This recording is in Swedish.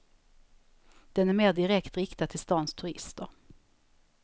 Den är mer direkt riktad till stans turister.